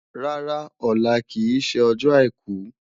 Rárá, ọlá kì í ṣe ọjọ́ àìkú